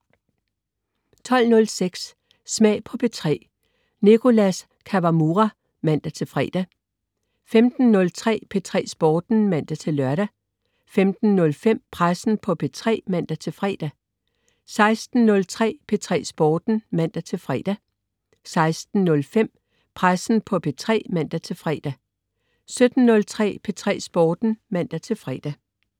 12.06 Smag på P3. Nicholas Kawamura (man-fre) 15.03 P3 Sporten (man-lør) 15.05 Pressen på P3 (man-fre) 16.03 P3 Sporten (man-fre) 16.05 Pressen på P3 (man-fre) 17.03 P3 Sporten (man-fre)